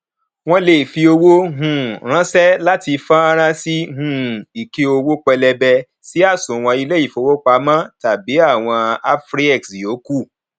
wọn lè fi owó um ránṣẹ láti fọnrán sí um ike owó pẹlẹbẹ sí àsùnwòn ilé ìfowópamọ tàbí ti àwọn afriex yòókù